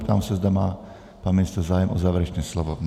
Ptám se, zda má pan ministr zájem o závěrečné slovo.